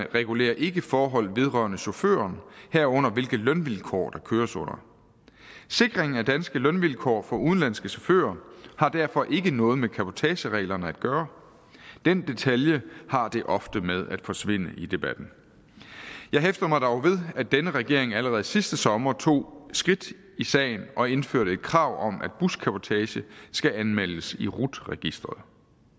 regulerer ikke forhold vedrørende chaufføren herunder hvilke lønvilkår der køres under sikringen af danske lønvilkår for udenlandske chauffører har derfor ikke noget med cabotagereglerne at gøre den detalje har det ofte med at forsvinde i debatten jeg hæfter mig dog ved at denne regering allerede sidste sommer tog skridt i sagen og indførte et krav om at buscabotage skal anmeldes i rut registeret